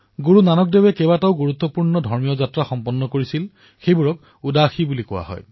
গুৰুনানক দেৱজীয়ে বহু গুৰুত্বপূৰ্ণ ধাৰ্মিক যাত্ৰা কৰিছিল যাক উদাসী বুলি কোৱা হয়